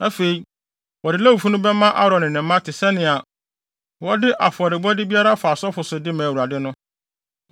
Afei, wɔde Lewifo no bɛma Aaron ne ne mma te sɛnea wɔde afɔrebɔde biara fa asɔfo so de ma Awurade no.”